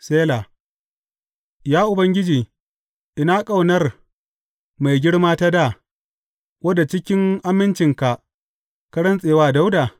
Sela Ya Ubangiji, ina ƙaunar mai girma ta dā, wadda cikin amincinka ka rantse wa Dawuda?